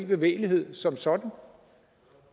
bevægelighed som sådan